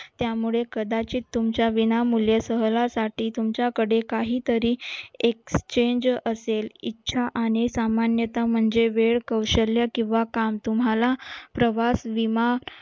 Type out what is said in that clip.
त्यामुळे कदाचित तुमच्या विना मूल्यासहलासाठी तुमच्याकडे काहीतरी एक change असेल इच्छा आणि सामान्यता म्हणजे वेळ कौशल्य किंवा काम तुम्हाला प्रवास